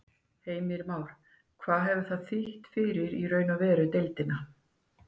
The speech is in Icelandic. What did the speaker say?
Heimir Már: Hvað hefur það þýtt fyrir í raun og veru deildina?